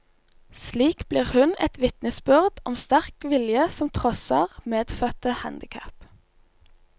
Slik blir hun et vitnesbyrd om sterk vilje som trosser medfødte handicap.